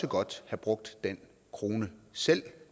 godt have brugt den krone selv